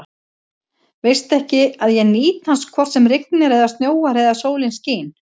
Veistu ekki, að ég nýt hans hvort sem rignir eða snjóar eða sólin skín?